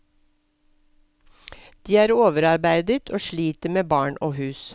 De er overarbeidet og sliter med barn og hus.